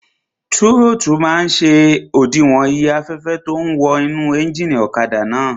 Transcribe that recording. Tírótù máa n ṣe òdiwọ̀n iye afẹ́fẹ́ tó ún wọ inú éjìnì ọ̀kadà náà